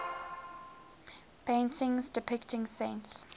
paintings depicting saints